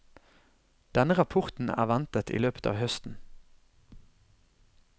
Denne rapporten er ventet i løpet av høsten.